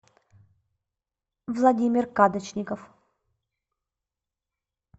владимир кадочников